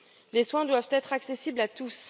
Les soins doivent être accessibles à tous.